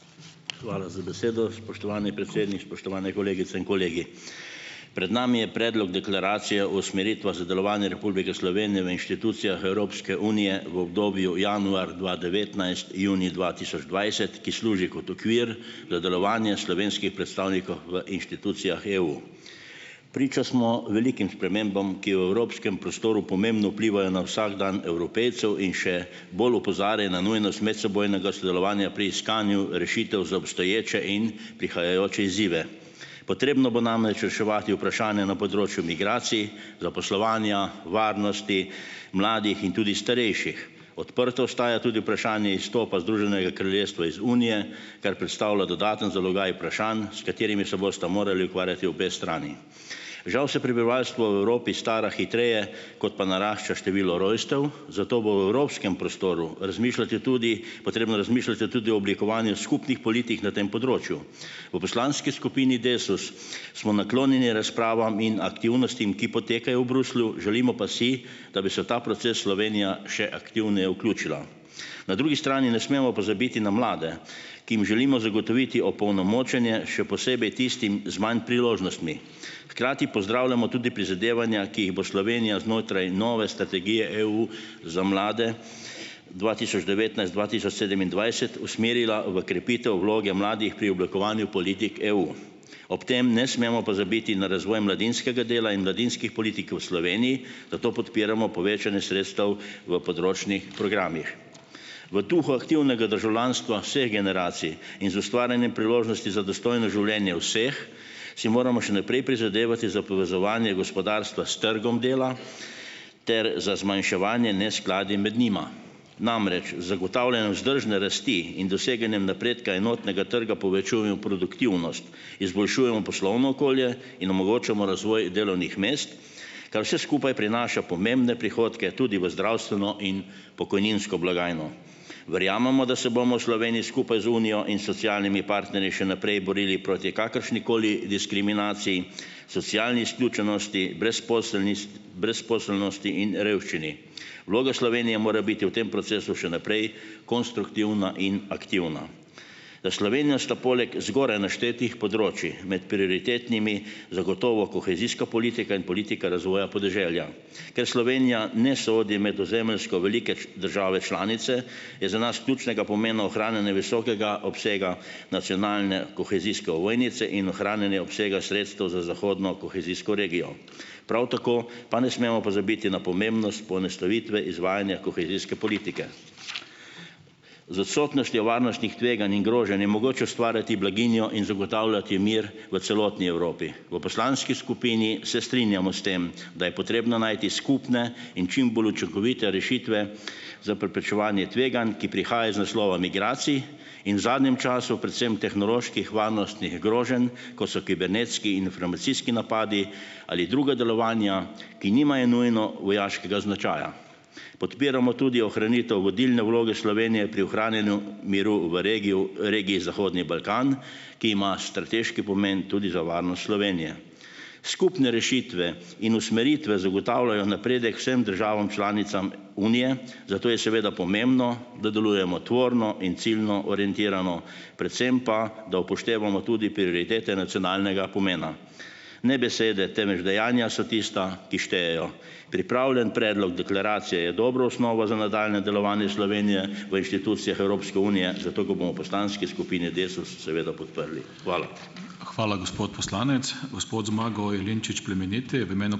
Hvala za besedo, spoštovani predsednik. Spoštovane kolegice in kolegi. Pred nami je Predlog deklaracije o usmeritvah za delovanje Republike Slovenije v inštitucijah Evropske unije v obdobju januar dva devetnajst-junij dva tisoč dvajset, ki služi kot okvir za delovanje v inštitucijah EU. Priča smo velikim spremembam, ki v evropskem prostoru pomembno vplivajo na vsakdan Evropejcev in še bolj na nujnost medsebojnega sodelovanja pri iskanju rešitev za obstoječe in prihajajoče izzive. Potrebno bo namreč reševati vprašanja na področju migracij, zaposlovanja, varnosti, mladih in tudi starejših. Odprto ostaja tudi vprašanje izstopa Združenega kraljestva iz Unije, kar predstavlja dodaten zalogaj vprašanj, s katerimi se bosta morali ukvarjati obe strani. Žal se prebivalstvo v Evropi stara hitreje, kot pa narašča število rojstev, zato bo v Evropskem prostoru razmišljati tudi potrebno razmišljati tudi o oblikovanju skupnih politik na tem področju. V poslanski skupini Desus smo naklonjeni razpravam in aktivnostim, ki potekajo v Bruslju, želimo pa si, da bi se v ta proces Slovenija še aktivneje vključila. Na drugi strani ne smemo pozabiti na mlade, ki jim želimo zagotoviti opolnomočenje, še posebej tistim z manj priložnostmi, hkrati pozdravljamo tudi prizadevanja, ki jih bo Slovenija znotraj nove strategije EU za mlade dva tisoč devetnajst-dva tisoč sedemindvajset usmerila v krepitev vloge mladih pri oblikovanju politik EU. Ob tem ne smemo pozabiti na razvoj mladinskega dela in mladinskih politik v Sloveniji, zato podpiramo povečanje sredstev v področnih programih. V duhu aktivnega državljanstva vseh generacij in z ustvarjanjem priložnosti za dostojno življenje vseh si moramo še naprej prizadevati za povezovanje gospodarstva s trgom dela ter za zmanjševanje neskladij med njima, namreč z zagotavljanjem vzdržne rasti in doseganjem napredka enotnega trga produktivnost, izboljšujemo poslovno okolje in omogočamo razvoj delovnih mest, kar vse skupaj prinaša pomembne prihodke tudi v zdravstveno in pokojninsko blagajno. Verjamemo, da se bomo v Sloveniji skupaj z Unijo in socialnimi partnerji še naprej borili proti kakršnikoli diskriminaciji, socialni izključenosti, brezposelnist brezposelnosti in revščini. Vloga Slovenije mora biti v tem procesu še naprej konstruktivna in aktivna. Za Slovenijo sta poleg zgoraj naštetih področij med prioritetnimi zagotovo kohezijska politika in politika razvoja podeželja. Ker Slovenija ne sodi med ozemeljsko velike džave članice, je za nas ključnega pomena ohranjane visokega obsega nacionalne kohezijske ovojnice in ohranjanja obsega sredstev za zahodno kohezijsko regijo. Prav tako pa ne smemo pozabiti na pomembnost poenostavitve izvajanja kohezijske politike. Z odsotnostjo varnostnih tveganj in groženj je mogoče ustvarjati blaginjo in zagotavljati mir v celotni Evropi. V poslanski skupini se strinjamo s tem, da je potrebno najti skupne in čim bolj učinkovite rešitve za preprečevanje tveganj, ki prihaja iz naslova migracij in zadnjem času predvsem tehnoloških, varnostnih groženj, kot so kibernetski in informacijski napadi ali druga delovanja, ki nimajo nujno vojaškega značaja. Podpiramo tudi ohranitev vodilne vloge Slovenije pri ohranjanju miru v regiji v regiji Zahodni Balkan, ki ima strateški pomeni tudi za varnost Slovenije. Skupne rešitve in usmeritve zagotavljajo napredek vsem državam članicam unije, zato je seveda pomembno, da delujemo tvorno in ciljno orientirano, predvsem pa, da upoštevamo tudi prioritete nacionalnega pomena. Ne besede, temveč dejanja so tista, ki štejejo. Pripravljen predlog deklaracije je dobra osnova za nadaljnje delovanje Slovenije v inštitucijah Evropske unije, zato ga bomo v poslanski skupini Desus seveda podprli. Hvala. Hvala, gospod poslanec. Gospod Zmago Jelinčič Plemeniti v imenu ...